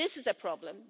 This is a problem.